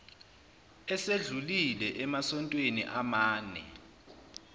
esedlulile emasontweni amane